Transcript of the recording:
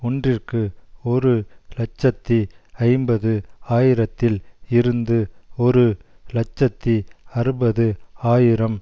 ஒன்றிற்கு ஒரு இலட்சத்தி ஐம்பது ஆயிரத்தில் இருந்து ஒரு இலட்சத்தி அறுபது ஆயிரம்